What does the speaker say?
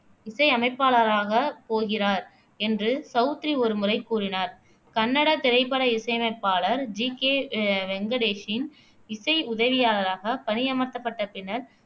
இசையமைப்பாளராக போகிறார் என்று சவுத்ரி ஒருமுறை கூறினார் கன்னட திரைப்பட இசையமைப்பாளர் ஜி கே அஹ் வெங்கடேஷின் இசை உதவியாளராக பணியமர்த்தப்பட்ட பின்னர்